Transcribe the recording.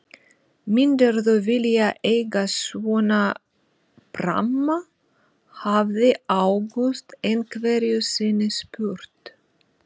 Myndirðu vilja eiga svona pramma? hafði Ágúst einhverju sinni spurt.